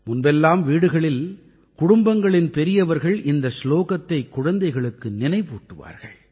முன்பெல்லாம் வீடுகளில் குடும்பங்களின் பெரியவர்கள் இந்த சுலோகத்தைக் குழந்தைகளுக்கு நினைவூட்டுவார்கள்